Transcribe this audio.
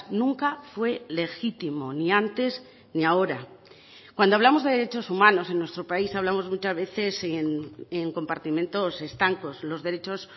nunca fue legítimo ni antes ni ahora cuando hablamos de derechos humanos en nuestro país hablamos muchas veces en compartimentos estancos los derechos